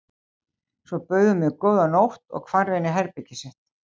Svo bauð hún mér góða nótt og hvarf inn í herbergið sitt.